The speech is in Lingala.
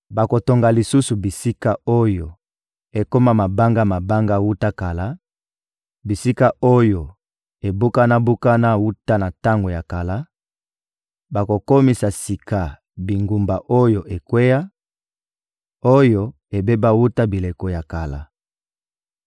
Bakotonga lisusu bisika oyo ekoma mabanga-mabanga wuta kala, bisika oyo ebukana-bukana wuta na tango ya kala; bakokomisa sika bingumba oyo ekweya, oyo ebeba wuta bileko ya kala.